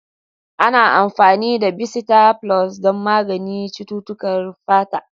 Ana amfani da bisita flus don magance cututtukan fata.